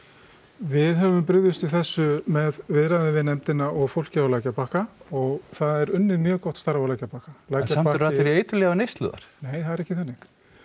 við höfum brugðist við þessu með viðræðum við við nefndina og fólkið á lækjarbakka og það er unnið mjög gott starf á lækjarbakka en samt eru allir í eiturlyfjaneyslu þar nei það er ekki þannig